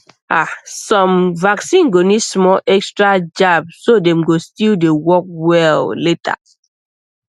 ahsome vaccine go need small extra jab so dem go still dey work well later